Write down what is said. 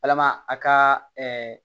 Walama a ka